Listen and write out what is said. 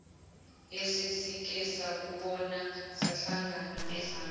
yesesike sakubona sahlangabezana